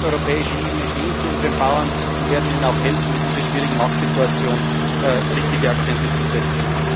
arbeiten. Wir als europäische Ebene stehen zu unseren Bauern und werden ihnen auch in dieser schwierigen Marktsituation helfen, richtige Akzente